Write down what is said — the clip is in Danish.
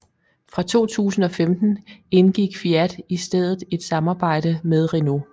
Fra 2015 indgik Fiat i stedet et samarbejde med Renault